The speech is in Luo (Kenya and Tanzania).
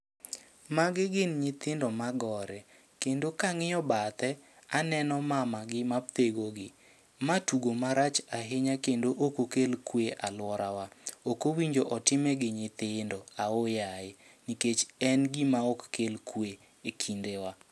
Magi gin nyithindo ma gore, kendo kang'iyo bathe aneno mama gi ma thego gi. Ma tugo marach ahinya kendo oko kel kwe alwora wa. Okowinjo otime gi nyithindo oho yaye, nikech en gima ok kel kwe e kinde wa.